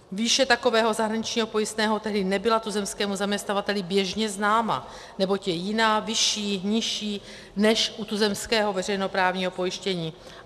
Výše takového zahraničního pojistného tedy nebyla tuzemskému zaměstnavateli běžně známa, neboť je jiná, vyšší, nižší, než u tuzemského veřejnoprávního pojištění.